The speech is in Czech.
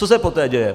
Co se poté děje?